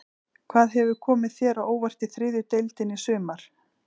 Hvað hefur komið þér á óvart í þriðju deildinni í sumar?